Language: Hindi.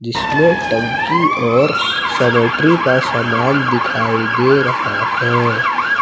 इसमें टंकी और सेनेटरी का सामान दिखाई दे रहा है।